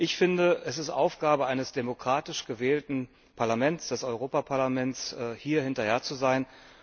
Ich finde, es ist Aufgabe eines demokratisch gewählten Parlaments, des Europäischen Parlaments, hier hinterher zu sein.